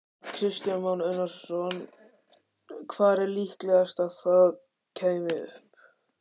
Kristján Már Unnarsson: Hvar væri líklegast að það kæmi upp?